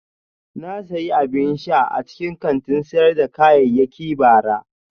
Na sayi abin sha a cikin kantin sayar da kayayyaki bara